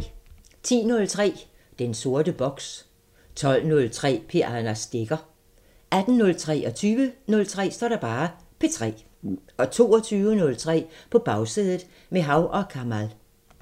10:03: Den sorte boks 12:03: P3 med Anders Stegger 18:03: P3 20:03: P3 22:03: På Bagsædet – med Hav & Kamal